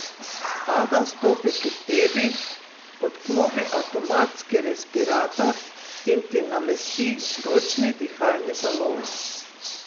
Ada stopi k tebi, odklopi avtomatski respirator in ti namesti ročni dihalni balon.